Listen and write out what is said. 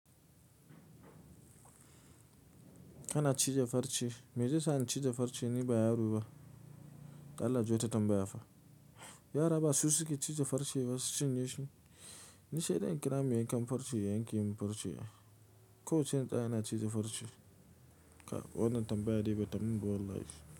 Kana ciza farce, meje sani ciza farce ni baya ruba, Allah jota tambaya fa. Yara ba su suke ciza farce ba su cinye shi. Ni shaide in kira mai yankan farce yanke min farce. Ko sai tsaya ina ciza farce, ka, wanan tambaya de bata mun ba wallaihi.